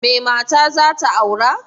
Mai mata zata aura?